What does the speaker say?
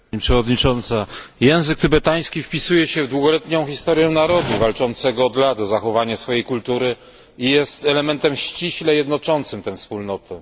Pani Przewodnicząca! Język tybetański wpisuje się w długoletnią historię narodu walczącego od lat o zachowania swojej kultury i jest elementem ściśle jednoczącym tę wspólnotę.